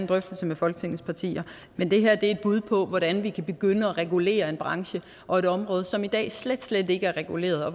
drøftelse med folketingets partier men det her er et bud på hvordan vi kan begynde at regulere en branche og et område som i dag slet slet ikke er reguleret og